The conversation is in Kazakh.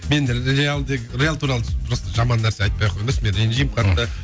мен реал тек реал туралы просто жаман нәрсе айтпай ақ қойыңдаршы мен ренжимін қатты